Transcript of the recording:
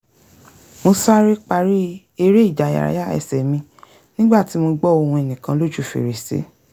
mo sáré parí eré-ìdárayá ẹsẹ̀ mi nígbà tí mo gbọ́ ohùn ẹnìkan lójú fèrèsé